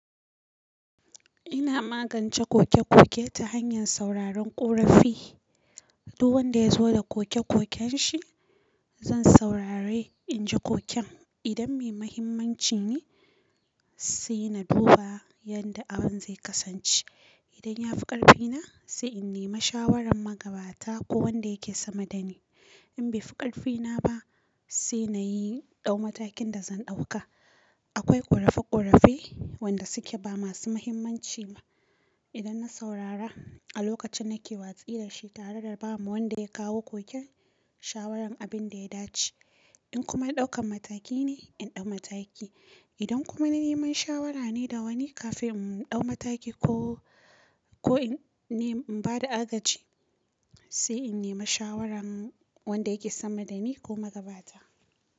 Ina magance koke-koke ta hanyar sauraron ƙorafi. Duk wanda ya zo da koke-koken shi, zan saurare, in ji koken. Idan mai mahimmanci ne, sai na duba yanda abin zai kasance. Idan ya fi ƙarfina, sai in nema shawarar magabata ko wanda yake sama dani. In bai fi ƙarfina ba, sai na yi ɗau matakin da zan ɗauka. Akwai ƙorafi-ƙorafi wanda suke ba masu mahimmanci ba. Idan na saurara a lokacin nake watsi da shi tare da ba ma wa wanda ya kawo koken shawaran abin da ya dace. In kuma ɗaukan mataki ne, in ɗau mataki. Idan kuma na neman shawara ne da wani kafin in ɗau mataki ko, ko in ne, in ba da agaci, sai in nema shawaran wanda yake sama dani ko magabata.